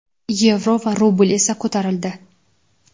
yevro va rubl esa ko‘tarildi.